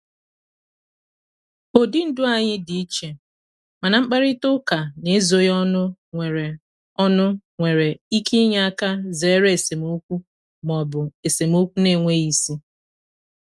ụdị ndụ anyị dị iche mana mkparịta ụka n'ezoghị ọnụ nwere ọnụ nwere ike inye aka zere esemokwu ma ọ bụ esemokwu na-enweghị isi.